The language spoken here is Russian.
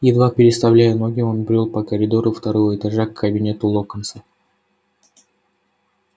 едва переставляя ноги он брёл по коридору второго этажа к кабинету локонса